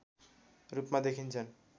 रूपमा देखिन्छन्